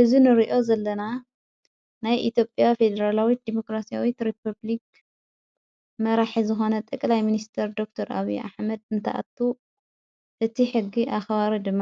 እዝ ንርእዮ ዘለና ናይ ኢትዮጵያ ፌድራላዊት ዴሞክራስያዊት ሬፑብልክ መራሒ ዝሆነ ጥቕላይ ምንስተር ዶክር ኣዊ ኣኅመድ እንተኣቱ እቲ ሕጊ ኣኸብሩ ድማ